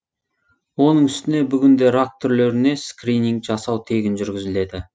оның үстіне бүгінде рак түрлеріне скрининг жасау тегін жүргізіледі